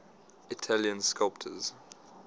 italian sculptors